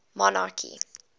monarchy